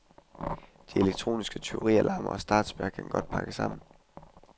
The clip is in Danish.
De elektroniske tyverialarmer og startspærrer kan godt pakke sammen.